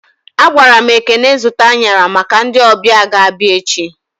A gwaram Ekene zụta anyara maka ndị ọbịa ga abịa echi